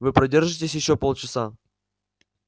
вы продержитесь ещё полчаса